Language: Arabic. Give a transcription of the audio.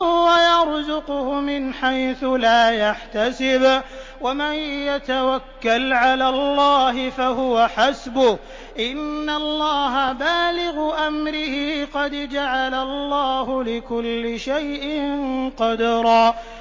وَيَرْزُقْهُ مِنْ حَيْثُ لَا يَحْتَسِبُ ۚ وَمَن يَتَوَكَّلْ عَلَى اللَّهِ فَهُوَ حَسْبُهُ ۚ إِنَّ اللَّهَ بَالِغُ أَمْرِهِ ۚ قَدْ جَعَلَ اللَّهُ لِكُلِّ شَيْءٍ قَدْرًا